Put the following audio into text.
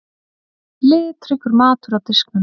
Litríkur matur á diskum.